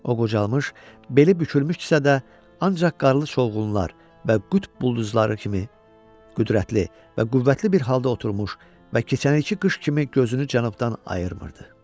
O qocalmış, beli bükülmüşdüsə də, ancaq qarlı çovğunlar və qütb buludları kimi qüdrətli və qüvvətli bir halda oturmuş və keçən ilki qış kimi gözünü cənubdan ayırmırdı.